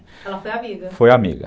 Ela foi amiga. Foi amiga.